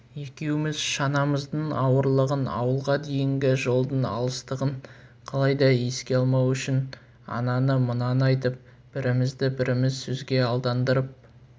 екеуміз шанамыздың ауырлығын ауылға дейінгі жолдың алыстығын қалай да еске алмау үшін ананы-мынаны айтып бірімізді-біріміз сөзге алдандырып